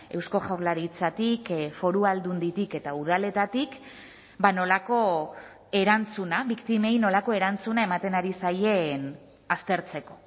eusko jaurlaritzatik foru aldunditik eta udaletatik nolako erantzuna biktimei nolako erantzuna ematen ari zaien aztertzeko